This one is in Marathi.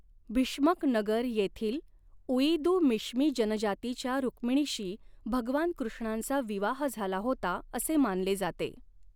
भीष्मक नगर येथील उइदू मिश्मी जनजातीच्या रुक्मिणीशी भगवान कृष्णांचा विवाह झाला होता असे मानले जाते.